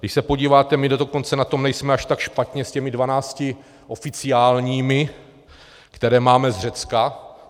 Když se podíváte, my dokonce na tom nejsme až tak špatně s těmi 12 oficiálními, které máme z Řecka.